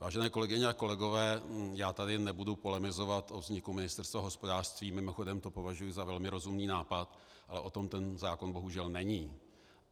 Vážené kolegyně a kolegové, já tady nebudu polemizovat o vzniku Ministerstva hospodářství, mimochodem to považuji za velmi rozumný nápad, ale o tom ten zákon, bohužel, není.